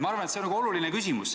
Ma arvan, et see on oluline küsimus.